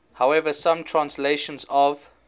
however some translations of